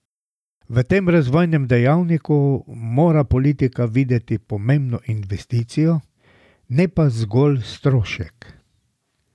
V tem razvojnem dejavniku mora politika videti pomembno investicijo, ne pa zgolj strošek.